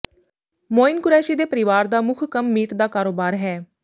ਮੋਈਨ ਕੁਰੈਸ਼ੀ ਦੇ ਪਰਿਵਾਰ ਦਾ ਮੁੰਖ ਕੰਮ ਮੀਟ ਦਾ ਕਾਰੋਬਾਰ ਹੈ